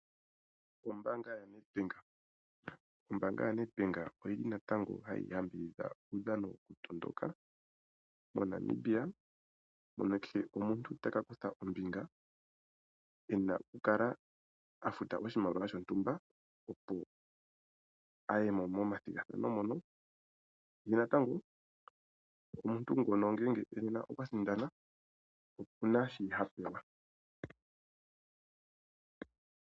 Ombaanga yaNedbank Ombaanga yaNedbank natango ohayi yambidhidha uudhano wokutondoka moNamibia mono kehe omuntu taka kutha ombinga ena okukala afuta oshimaliwa shontumba, opo aye mo momathigathano mono, ye natango omuntu ngono ngele okwa sindana oku na shi ha pewa.